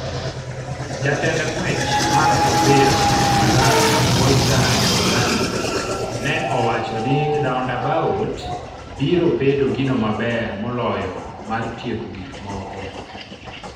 Jatend ng'wech mar opira Malawi, Walter Nyamilandu ne owacho ni "Roundabout biro bedo gino maber moloyo mar tieko gik moko."